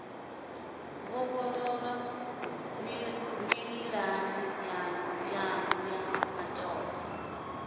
vhofholowa mililani yanu ya matope